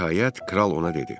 Nəhayət, kral ona dedi: